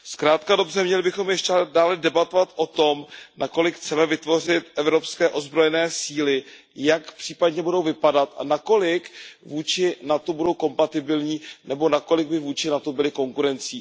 Zkrátka a dobře, měli bychom ještě dále debatovat o tom, nakolik chceme vytvořit evropské ozbrojené síly, jak případně budou vypadat a nakolik vůči NATO budou kompatibilní nebo nakolik by vůči NATO byly konkurencí.